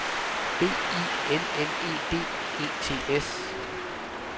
B I L L E D E T S